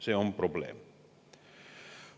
See on probleem.